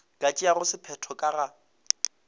ka tšeago sephetho ka ga